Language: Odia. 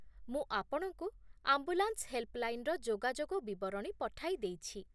ମୁଁ ଆପଣଙ୍କୁ ଆମ୍ବୁଲାନ୍ସ ହେଲ୍ପଲାଇନର ଯୋଗାଯୋଗ ବିବରଣୀ ପଠାଇ ଦେଇଛି।